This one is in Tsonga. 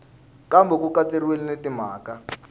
kambe ku katsiwile na timhaka